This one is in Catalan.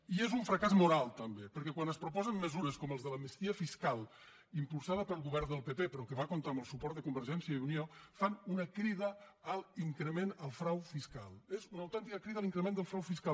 i és un fracàs moral també perquè quan es propo·sen mesures com les de l’amnistia fiscal impulsada pel govern del pp però que va comptar amb el suport de convergència i unió fan una crida a l’increment del frau fiscal és una autèntica crida a l’increment del frau fiscal